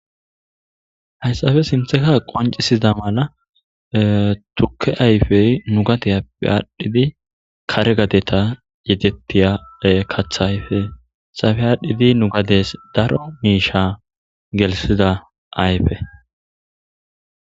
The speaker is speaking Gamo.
hayssafe sintheka qoncisiza mala tukke ayfey nu gadi appe aadhdhidi kare gadeta yetettiya katha ayfe safe aadhdhidi nu gades daro miisha gelsida ayfe